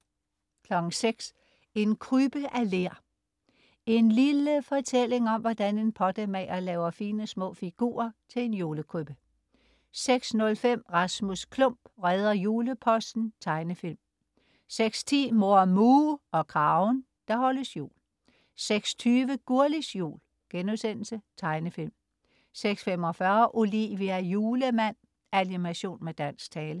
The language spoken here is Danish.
06.00 En krybbe af ler. En lille fortælling om, hvordan en pottemager laver fine små figurer til en julekrybbe 06.05 Rasmus Klump redder juleposten. Tegnefilm 06.10 Mor Muh og Kragen. Der holdes jul 06.20 Gurlis Jul.* Tegnefilm 06.45 Olivia julemand. Animation med dansk tale